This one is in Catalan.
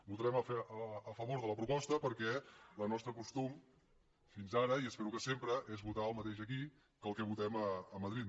votarem a favor de la proposta perquè el nostre costum fins ara i espero que sempre és votar el mateix aquí que el que votem a madrid